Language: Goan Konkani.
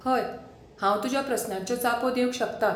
हय, हांव तुज्या प्रस्नांच्यो जापो दिवंक शकता.